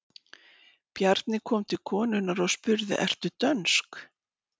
Bjarni gekk til konunnar og spurði:-Ertu dönsk?